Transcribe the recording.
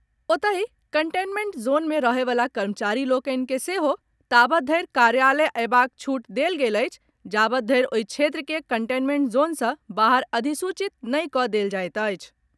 ओतहि containment zone मे रहयवला कर्मचारी लोकनि के सेहो ताबत धरि कार्यालय अयबाक छूट देल गेल अछि जाबत धरि ओहि क्षेत्र के कंटेनमेंट जोन सँ बाहर अधिसूचित नहि कऽ देल जायत अछि।